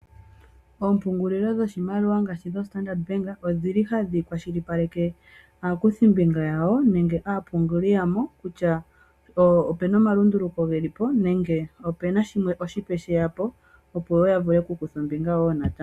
Ompungulilo dhoshimaliwa ngaashi dhoStandard odhili hadhi kwalishipaleke aakuthimbinga yawo nenge aapunguli yawo kutya opena omalunduluko gelipo nenge opena oshipe shilipo opo yavule okukutha ombinga woo natango.